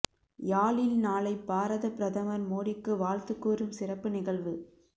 யாழில் நாளை பாரதப் பிரதமர் மோடிக்கு வாழ்த்து கூறும் சிறப்பு நிகழ்வு